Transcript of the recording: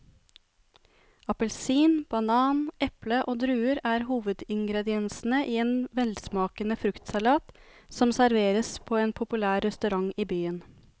Appelsin, banan, eple og druer er hovedingredienser i en velsmakende fruktsalat som serveres på en populær restaurant i byen.